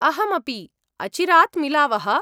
अहमपि, अचिरात् मिलावः।